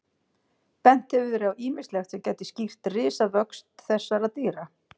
Bent hefur verið á ýmislegt sem gæti skýrt risavöxt þessara dýra.